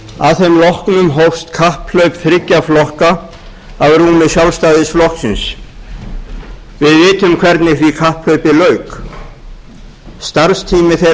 að þeim loknum hófst kapphlaup þriggja flokka að rúmi sjálfstæðisflokksins við vitum hvernig því kapphlaupi lauk starfstími